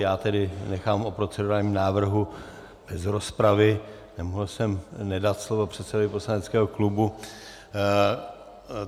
Já tedy nechám o procedurálním návrhu bez rozpravy, nemohl jsem nedat slovo předsedovi poslaneckého klubu.